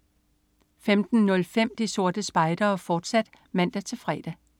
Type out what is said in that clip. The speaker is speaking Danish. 15.05 De Sorte Spejdere, fortsat (man-fre)